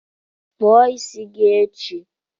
Kpụọ isi gi echi